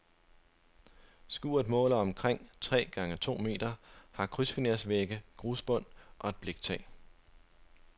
Skuret måler omkring tre gange to meter, har krydsfinervægge, grusbund og et bliktag.